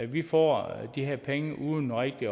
vi får de her penge uden rigtig